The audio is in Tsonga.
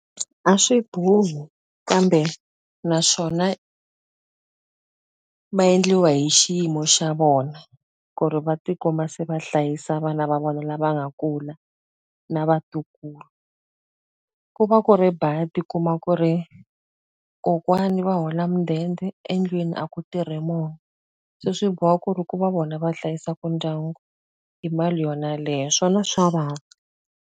A swi bohi kambe naswona va endliwa hi xiyimo xa vona, ku ri va ti kuma se va hlayisa vana va vona lava nga kula, na vatukulu. Ku va ku ri badi u kuma ku ri kokwani va hola mudende, endlwini a ku tirhi munhu. Se swi boha ku ri ku va vona va hlayisaka ndyangu hi mali yona yeleyo. Swona swa vava.